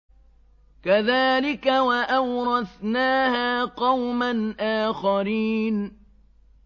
كَذَٰلِكَ ۖ وَأَوْرَثْنَاهَا قَوْمًا آخَرِينَ